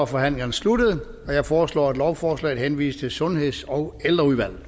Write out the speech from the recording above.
forhandlingen sluttet jeg foreslår at lovforslaget henvises til sundheds og ældreudvalget